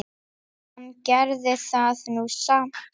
Hann gerði það nú samt.